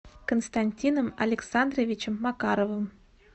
константином александровичем макаровым